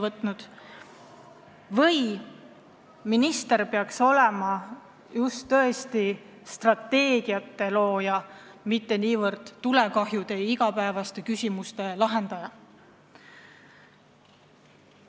Vahest peaks minister olema hoopis strateegiate looja, mitte niivõrd tulekahjude ja väiksemate igapäevaste küsimuste lahendaja?